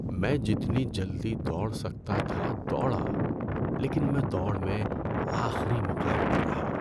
میں جتنی جلدی دوڑ سکتا تھا دوڑا لیکن میں دوڑ میں آخری مقام پر رہا۔